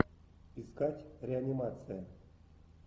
искать реанимация